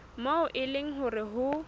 moo e leng hore ho